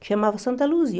Que chamava Santa Luzia.